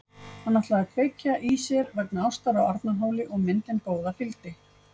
Hann ætlaði að kveikja í sér vegna ástar á Arnarhóli og myndin góða fylgdi.